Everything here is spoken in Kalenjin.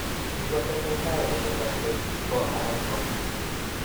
Ingotesetai kotesaksei ko nan ko